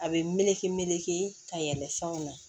A bɛ meleke meleke ka yɛlɛn fɛnw na